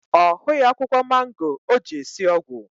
Ọ hughị akwụkwọ mango o ji esi ọgwụ